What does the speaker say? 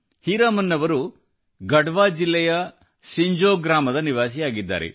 ಹೀರಾಮನ್ ಅವರು ಗಢ್ವಾ ಜಿಲ್ಲೆಯ ಸಿಂಜೋ ಗ್ರಾಮದ ನಿವಾಸಿಯಾಗಿದ್ದಾರೆ